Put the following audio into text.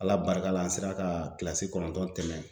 Ala barika la, an sera ka kilasi kɔnɔntɔn tɛmɛ.